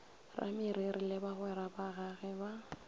rameriri le bagwera bagagwe ba